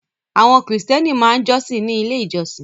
Àwọn Kìrìtẹ́ẹ́nì máa ń jọ́sìn ní Ilé-ìjọsìn.